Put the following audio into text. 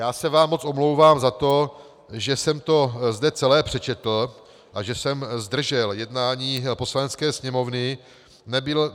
Já se vám moc omlouvám za to, že jsem to zde celé přečetl a že jsem zdržel jednání Poslanecké sněmovny.